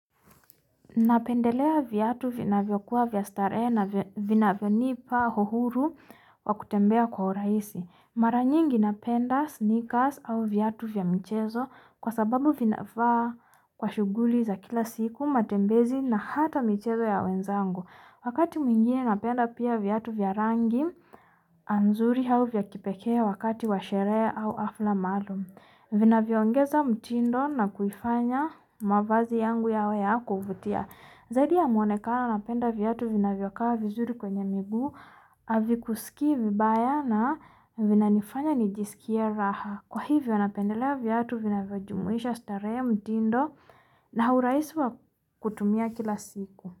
Napendelea viatu vinavyokua vya starehe na vinavyonipa uhuru wa kutembea kwa urahisi. Mara nyingi napenda snikas au viatu vya michezo kwa sababu vinafaa kwa shughuli za kila siku, matembezi na hata michezo ya wenzangu. Wakati mwingine napenda pia viatu vya rangi nzuri au vya kipekee wakati wa sherehe au hafla maalum. Vinavyoongeza mtindo na kuifanya mavazi yangu yawe ya kuvutia. Zaidi ya mwonekano napenda viatu vinavyokaa vizuri kwenye miguu, havikusikii vibaya na vinanifanya nijiskie raha. Kwa hivyo napendelea viatu vinavyojumuisha starehe, mtindo na urahisi wakutumia kila siku.